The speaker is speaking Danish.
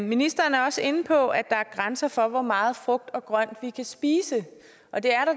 ministeren er også inde på at der er grænser for hvor meget frugt og grønt vi kan spise og det